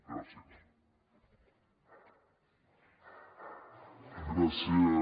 gràcies